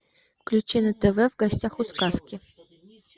включи на тв в гостях у сказки